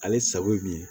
Ale sago ye min ye